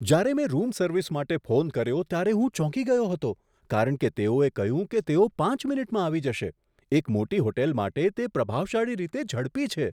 જ્યારે મેં room service માટે ફોન કર્યો ત્યારે હું ચોંકી ગયો હતો કારણ કે તેઓએ કહ્યું કે તેઓ પાંચ મિનિટમાં આવી જશે. એક મોટી હોટલ માટે તે પ્રભાવશાળી રીતે ઝડપી છે!